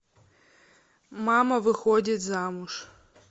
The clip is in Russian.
мама выходит замуж